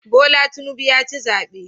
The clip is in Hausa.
Bola Tinubu ya ci zabe